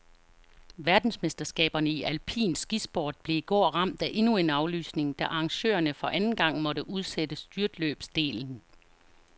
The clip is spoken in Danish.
Verdensmesterskaberne i alpin skisport blev i går ramt af endnu en aflysning, da arrangørerne for anden gang måtte udsætte styrtløbsdelen.